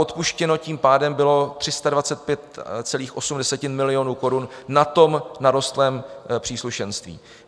Odpuštěno tím pádem bylo 325,8 milionu korun na narostlém příslušenství.